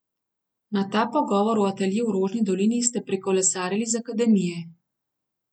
Na ta pogovor v atelje v Rožni dolini ste prikolesarili z akademije.